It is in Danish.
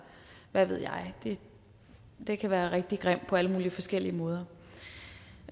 hvad ved jeg det kan være rigtig grimt på alle mulige forskellige måder